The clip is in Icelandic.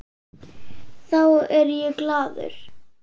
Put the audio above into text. Þá er ég glaður.